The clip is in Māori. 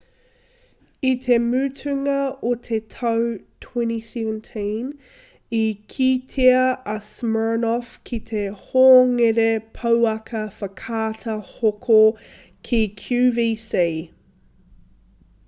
i te mutunga o te tau 2017 i kitea a siminoff ki te hongere pouaka whakaata hoko ki qvc